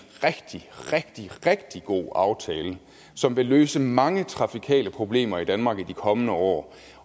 rigtig rigtig god aftale som vil løse mange trafikale problemer i danmark i de kommende år